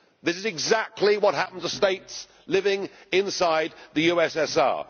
This is exactly what happened to states living inside the USSR.